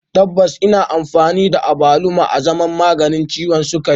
Tabbas ana amfani da abaluma azaman maganin ciwon sukari